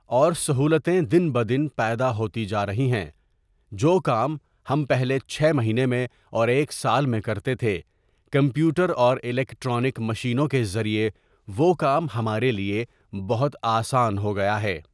اور سہولتیں دن بدن پیدا ہوتی جا رہی ہیں جو کام ہم پہلے چھ مہینے میں اور ایک سال میں کرتے تھے کمپیوٹر اور الیکٹرانک مشینوں کے ذریعے وہ کام ہمارے لیے بہت آسان ہو گیا ہے.